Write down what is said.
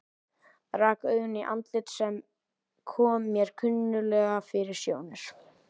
Rak augun í andlit sem kom mér kunnuglega fyrir sjónir.